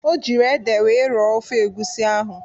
O jiri ede wee rọọ ofe egwusi ahụ.